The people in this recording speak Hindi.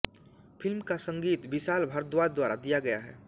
फ़िल्म का संगीत विशाल भारद्वाज द्वारा दिया गया है